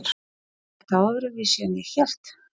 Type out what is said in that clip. Er þetta öðruvísi en ég hélt?